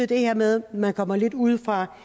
det her med at man kommer lidt udefra